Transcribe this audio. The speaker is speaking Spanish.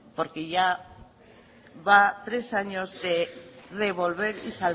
porque ya va tres años de revolver y